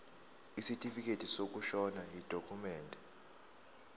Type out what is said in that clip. isitifikedi sokushona yidokhumende